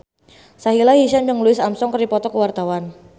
Sahila Hisyam jeung Louis Armstrong keur dipoto ku wartawan